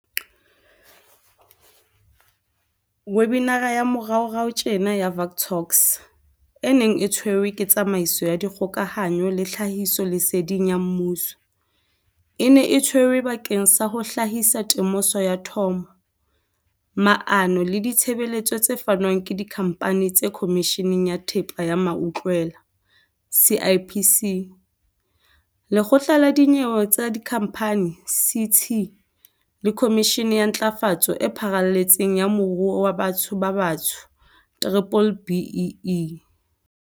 Webinara ya moraorao tjena ya Vuk Talks, e neng e tshwerwe ke Tsamaiso ya Dikgokahanyo le Tlhahisoleseding ya Mmuso, e ne e tshwerwe bakeng sa ho hlahisa temoso ya thomo, maano le ditshebeletso tse fanwang ke Dikhamphani le Khomishene ya Thepa ya Mautlwela, CIPC, Lekgotla la Dinyewe tsa Dikhamphani, CT, le Khomishene ya Ntlafatso e Pharaletseng ya Moruo wa Batho ba Batsho, B-BBEE.